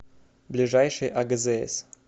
ближайший агзс